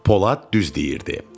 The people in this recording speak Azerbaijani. Polad düz deyirdi.